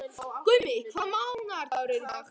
Gummi, hvaða mánaðardagur er í dag?